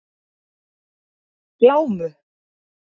Glámu